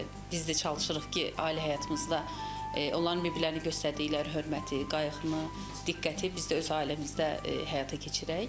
Mən də biz də çalışırıq ki, ailə həyatımızda onların bir-birlərinə göstərdikləri hörməti, qayğını, diqqəti biz də öz ailəmizdə həyata keçirək.